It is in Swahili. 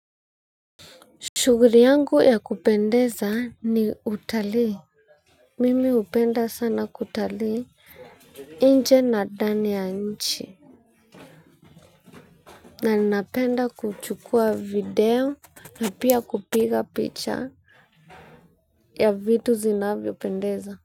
Shuguri yangu ya kupendeza ni utalii. Mimi hupenda sana kutalii inje na dani ya nchi. Na ninapenda kuchukua video na pia kupiga picture ya vitu zinavyopendeza.